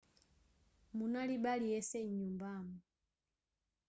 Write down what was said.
munalibe aliyense m'nyumbamo